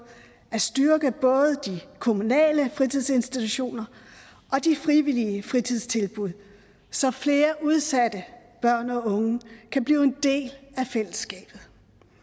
at styrke både de kommunale fritidsinstitutioner og de frivillige fritidstilbud så flere udsatte børn og unge kan blive en del af fællesskabet